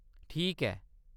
ठीक ऐ !